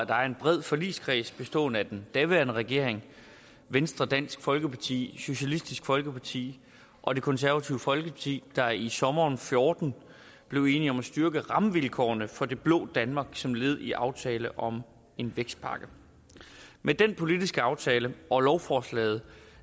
var en bred forligskreds bestående af den daværende regering venstre dansk folkeparti socialistisk folkeparti og det konservative folkeparti der i sommeren fjorten blev enige om at styrke rammevilkårene for det blå danmark som led i aftale om en vækstpakke med den politiske aftale og lovforslaget